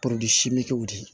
de